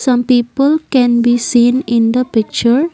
some people can be seen in the picture.